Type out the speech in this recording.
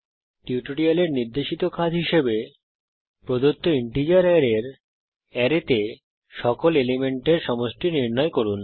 এই টিউটোরিয়ালের নির্দেশিত কাজ হিসাবে প্রদত্ত ইন্টিজার অ্যারের অ্যারেতে সকল এলিমেন্টের সমষ্টি নির্ণয় করুন